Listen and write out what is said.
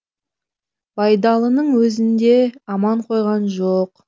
байдалының өзін де аман қойған жоқ